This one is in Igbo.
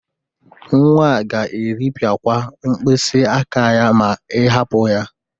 Nwa a ga-eripịakwa mkpịsịaka ya ma ị hapụ ya.